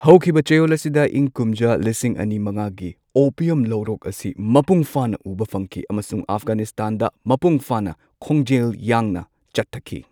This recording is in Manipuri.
ꯍꯧꯈꯤꯕ ꯆꯌꯣꯜ ꯑꯁꯤꯗ ꯏꯪ ꯀꯨꯝꯖꯥ ꯂꯤꯁꯤꯡ ꯑꯅꯤ ꯃꯉꯥꯒꯤ ꯑꯣꯄꯤꯌꯝ ꯂꯧꯔꯣꯛ ꯑꯁꯤ ꯃꯄꯨꯡ ꯐꯥꯅ ꯎꯕ ꯐꯪꯈꯤ ꯑꯃꯁꯨꯡ ꯑꯐꯒꯥꯅꯤꯁꯇꯥꯟꯗ ꯃꯄꯨꯡ ꯐꯥꯅ ꯈꯣꯡꯖꯦꯜ ꯌꯥꯡꯅ ꯆꯠꯊꯈꯤ꯫